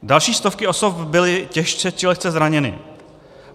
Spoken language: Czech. Další stovky osob byly těžce či lehce zraněny.